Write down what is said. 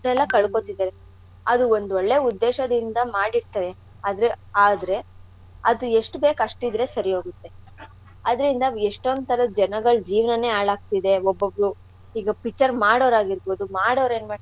ಕಳ್ಕೋತಿದಾರೆ ಅದು ಒಂದ್ ಒಳ್ಳೆ ಉದ್ದೇಶದಿಂದ ಮಾಡಿರ್ತಾರೆ ಆದ್ರೆ ಆದ್ರೆ ಅದ್ ಎಷ್ಟ್ ಬೇಕ್ ಅಷ್ಟಿದ್ರೆ ಸರಿ ಹೋಗತ್ತೆ. ಅದ್ರಿಂದ ಎಷ್ಟೋಂದ್ ಥರದ್ ಜನಗಳ್ ಜೀವನಾನೇ ಹಾಳಾಗ್ತಿದೆ. ಒಬ್ಬೊಬ್ರು ಈಗ picture ಮಾಡೋರಾಗಿರ್ಬೌದು ಮಾಡೋರ್ ಏನ್ ಮಾಡ್ತಾರೆ.